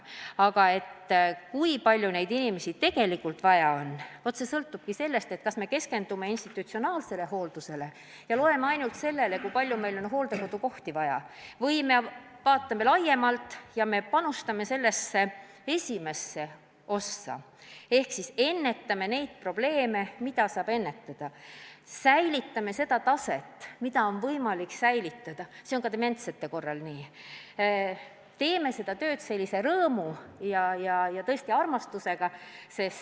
Aga kui palju neid inimesi tegelikult vaja on, see sõltub sellest, kas me keskendume institutsionaalsele hooldusele ja loeme ainult seda, kui palju meil hooldekodukohti vaja on, või me vaatame laiemalt ja panustame sellesse esimesse ossa ehk ennetame probleeme, mida saab ennetada, säilitame seda taset, mida on võimalik säilitada – see on ka dementsete korral nii –, teeme seda tööd rõõmu ja tõesti armastusega.